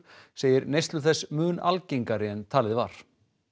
segir neyslu þess mun algengari en talið var